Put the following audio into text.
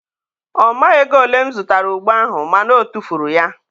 ọ maghị ego ole m zụtara ogbo ahụ ma na o tufuru ya.